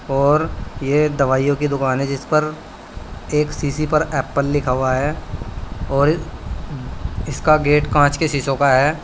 और ये दवाइयों की दुकान है जिसपर एक शीशी पर एप्पल लिखा हुआ है और इसका गेट कांच के शीशों का है।